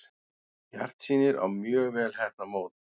Bjartsýnir á mjög vel heppnað mót